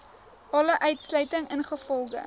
alle uitsluiting ingevolge